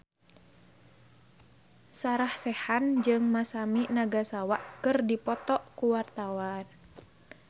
Sarah Sechan jeung Masami Nagasawa keur dipoto ku wartawan